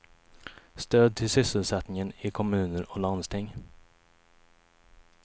Stöd till sysselsättningen i kommuner och landsting.